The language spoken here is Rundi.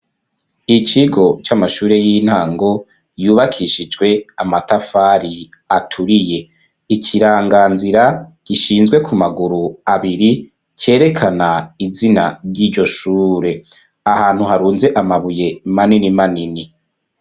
Ikigo c'amashure y'intango yubakishijwe amatafari aturiye; ikiranganzira gishinzwe ku maguru abiri cerekana izina ry'iryo shure ahantu harunze amabuye manini manini.